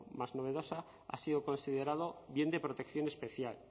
más novedosa ha sido considerado bien de protección especial